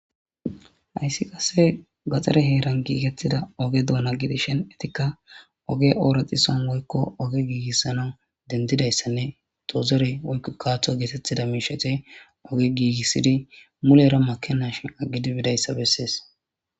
hayssi qasse gaxare heeran giigettida oge douna gidishen etikka oge ooraxison woykko oge giigissana dendidayssanne tozere oy kaaththo geetettida miishete oge giigissidi mulera makeash aggidi bidayssa bessees